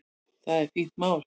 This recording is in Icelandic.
Það er fínt mál.